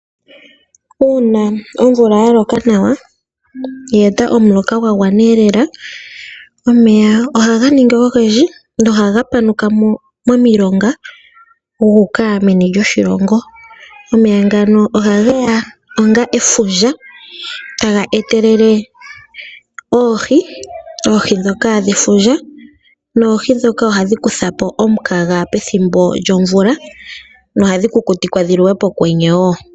Uuna omvula ya loka nawa, ya gandja omuloka gwa gwana nawa lela, omeya ohaga ningi ogendji nohaga panuka mo momilonga gu uka meno lyoshilongo. Omeya ngano ohage ya onga efundja taga etelele oohi ndhoka dhefundja noohi ndhoka ohadhi kutha po omukaga pethimbo lyomvula nohadhi kukutikwa dhi liwe pokwenye wo.